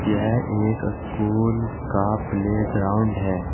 यह एक स्कूल का प्लेग्राउंड है।